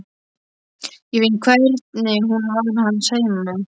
Ég finn hvernig hún var hans heima.